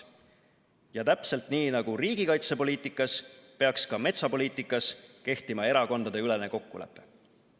Ja täpselt nii nagu riigikaitsepoliitikas peaks ka metsapoliitikas kehtima erakondadeülene kokkulepe.